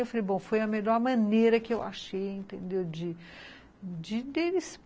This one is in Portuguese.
Eu falei, bom, foi a melhor maneira que eu achei, entendeu de deles